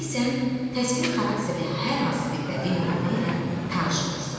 tutaq ki, sən təsviri xarakterli hər hansı bir bədii nümunə ilə tanış olursan.